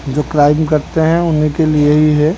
जो क्राइम करते हैं उन्हीं के लिए ही है।